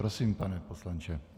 Prosím, pane poslanče.